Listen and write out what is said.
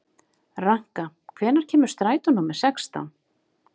Ranka, hvenær kemur strætó númer sextán?